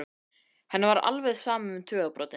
Henni var alveg sama um tugabrotin.